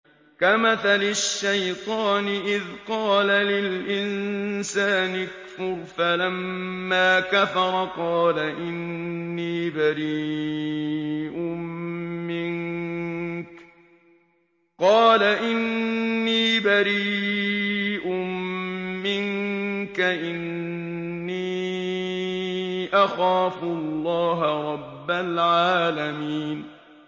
كَمَثَلِ الشَّيْطَانِ إِذْ قَالَ لِلْإِنسَانِ اكْفُرْ فَلَمَّا كَفَرَ قَالَ إِنِّي بَرِيءٌ مِّنكَ إِنِّي أَخَافُ اللَّهَ رَبَّ الْعَالَمِينَ